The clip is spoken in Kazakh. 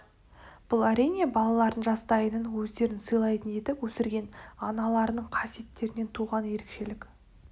бұл әрине балаларын жастайынан өздерін сыйлайтын етіп өсірген аналарының қасиеттерінен туған ерекшелік